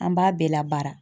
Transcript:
An b'a bɛɛ labara.